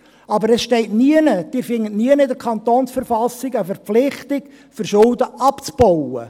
Aber es steht nirgends, sie finden nirgends in der KV eine Verpflichtung, Schulden abzubauen.